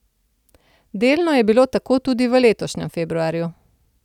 Delno je bilo tako tudi v letošnjem februarju.